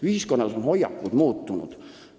Ühiskonnas on hoiakud muutunud.